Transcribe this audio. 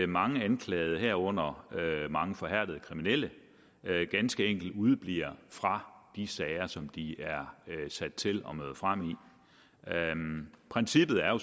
mange anklagede herunder mange forhærdede kriminelle ganske enkelt udebliver fra de sager som de er sat til at møde frem i princippet er jo